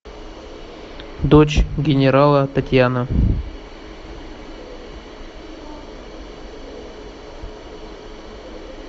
дочь генерала татьяна